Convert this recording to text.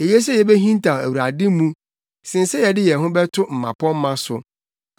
Eye sɛ yebehintaw Awurade mu, sen sɛ yɛde yɛn ho bɛto mmapɔmma so.